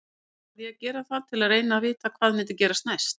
Samt varð ég að gera það til að reyna að vita hvað myndi gerast næst.